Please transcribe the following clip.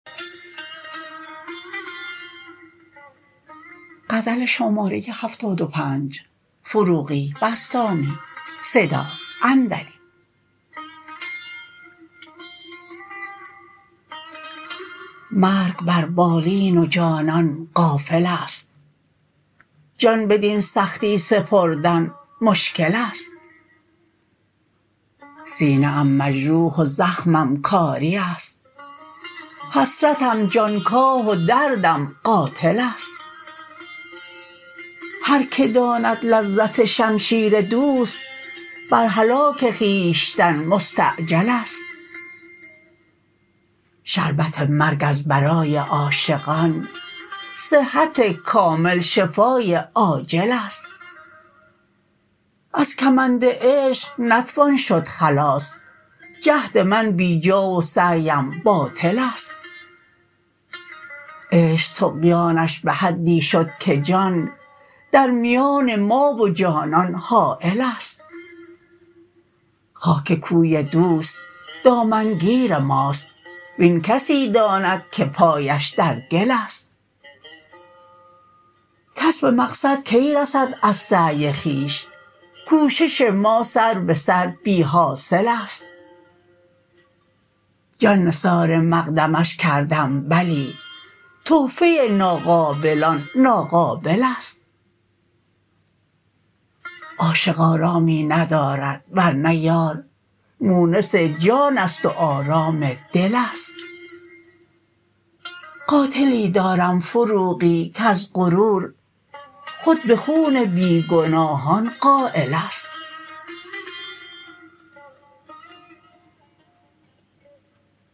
مرگ بر بالین وجانان غافل است جان بدین سختی سپردن مشکل است سینه ام مجروح و زخمم کاری است حسرتم جانکاه و دردم قاتل است هر که داند لذت شمشیر دوست بر هلاک خویشتن مستعجل است شربت مرگ از برای عاشقان صحت کامل شفای عاجل است از کمند عشق نتوان شد خلاص جهد من بی جا و سعی ام باطل است عشق طغیانش به حدی شد که جان در میان ما و جانان حایل است خاک کوی دوست دامن گیر ماست وین کسی داند که پایش در گل است کس به مقصد کی رسد از سعی خویش کوشش ما سر به سر بی حاصل است جان نثار مقدمش کردم بلی تحفه ناقابلان ناقابل است عاشق آرامی ندارد ورنه یار مونس جان است و آرام دل است قاتلی دارم فروغی کز غرور خود به خون بی گناهان قایل است